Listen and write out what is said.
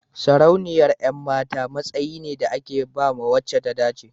sarauniyar 'yan mata matsayi ne da ake ba wace ta dace